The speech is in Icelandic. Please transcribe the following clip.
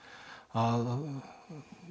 að